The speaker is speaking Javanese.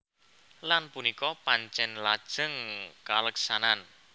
Lan punika pancèn lajeng kaleksanan